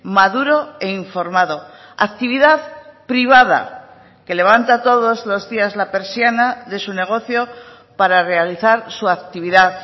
maduro e informado actividad privada que levanta todos los días la persiana de su negocio para realizar su actividad